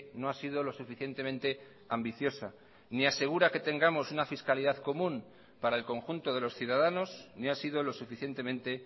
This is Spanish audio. no ha sido lo suficientemente ambiciosa ni asegura que tengamos una fiscalidad común para el conjunto de los ciudadanos ni ha sido lo suficientemente